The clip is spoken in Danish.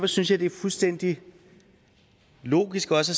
synes jeg det er fuldstændig logisk også